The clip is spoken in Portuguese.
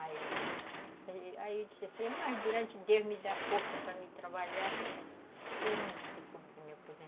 Aí eu disse assim, mas durante Deus me dá força para me trabalhar, eu não me preocupo de me aposentar.